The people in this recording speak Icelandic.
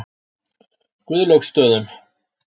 Guðlaugsstöðum